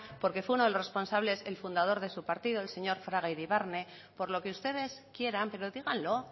porque fue uno de los responsables el fundador de su partido el señor fraga iribarne por lo que ustedes quieran pero díganlo